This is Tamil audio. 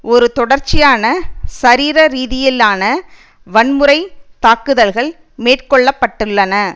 ஒரு தொடர்ச்சியான சரீர ரீதியிலான வன்முறைத் தாக்குதல்கள் மேற்கொள்ள பட்டுள்ளன